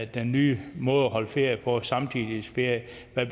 den nye måde at holde ferie på altså samtidighedsferie